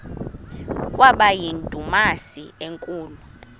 kwaba yindumasi enkulu